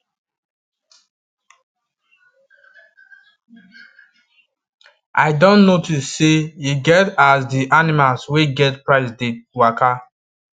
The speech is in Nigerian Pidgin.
i don notice say e get as the animlas wey get pride dey waka